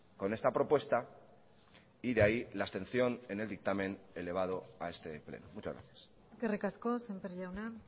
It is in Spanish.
con esta propuesta y de ahí la abstención en el dictamen elevado a este pleno muchas gracias eskerrik asko sémper jauna